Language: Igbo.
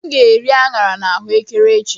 M ga-eri aṅara na ahuekere echi.